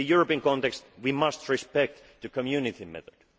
rules. In the European context we must respect the Community